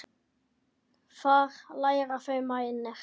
Þar læra þau bænir.